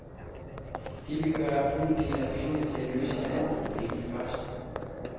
Det, vi gør, er at bruge en del af pengene til at løse et andet problem først.